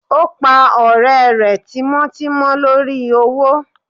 o pa ọrẹ rẹ tímò timò lorí owo